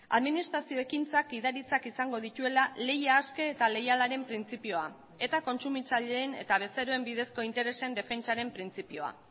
administrazio ekintzak gidaritzak izango dituela lehia aske eta leialaren printzipioa eta kontsumitzaileen eta bezeroen bidezko interesen defentsaren printzipioa